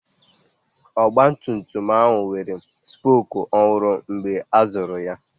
Ọgbatumtum ahụ nwere spoku ọhụrụ mgbe a zụrụ ya.